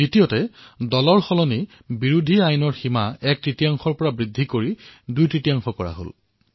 দ্বিতীয়তে দলসলনি বিৰোধী আইনৰ অধীনত সিদ্ধান্ত সীমা এক তৃতীয়াংশৰ পৰা বৃদ্ধি কৰি দুইতৃতীয়াংশ কৰা হল